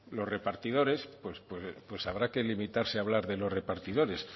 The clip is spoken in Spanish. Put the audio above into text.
los repartidores pues habrá que limitarse a hablar de los repartidores